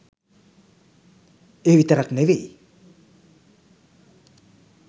ඒ විතරක් නෙවෙයි